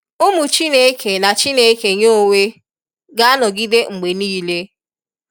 Ụmụ Chineke na Chineke Ya onwe ga anọgide mgbe nịịle.